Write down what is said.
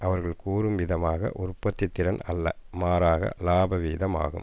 அவர்கள் கூறும் விதமாக உற்பத்தி திறன் அல்ல மாறாக லாப வீதம் ஆகும்